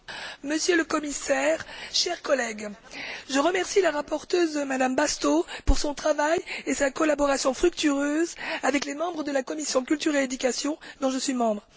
Monsieur le Commissaire, chers collègues, je remercie la rapporteure, Mme Bastos, pour son travail et sa collaboration fructueuse avec les membres de la commission de la culture et de l'éducation, dont je suis membre.